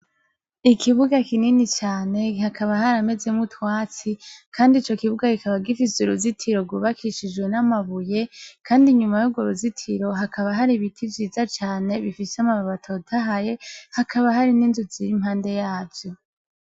Ikibuga kinini cane hakaba haramezemwo utwatsi kandi ico kibuga kikaba gifise uruzitiro rwubakishijwe n'amabuye, kandi inyuma yurwo ruzitiro hakaba hari ibiti vyiza cane bifise amababi atotahaye, hakaba hari n'inzu ziri impande yavyo.